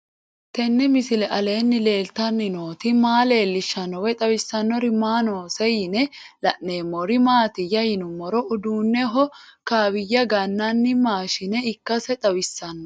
Tenni misile aleenni leelittanni nootti maa leelishshanno woy xawisannori may noosse yinne la'neemmori maattiya yinummoro uduunneho kaawiya gananni maashinne ikkasse xawissanno